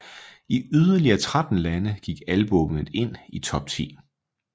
I yderligere 13 lande gik albummet ind i top 10